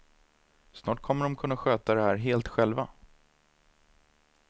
Snart kommer de att kunna sköta det här helt själva.